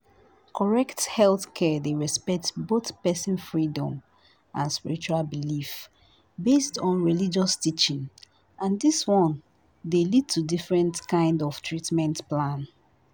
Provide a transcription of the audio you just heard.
correct healthcare dey respect both person freedom and spiritual belief based on religious teaching and this one dey lead to different kind of treatment plan